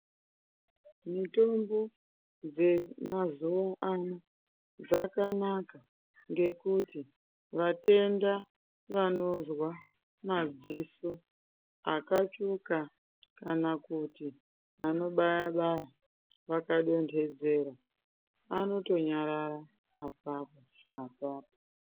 Mitombo dzemazuwa ano, dzakanaka ngekuti vatenda, vanozwa madziso akatsvuka, kana kuti anobaya-baya, vakadonthedzera, anotonyarara apapo-apapo.